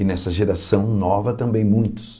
E nessa geração nova também muitos.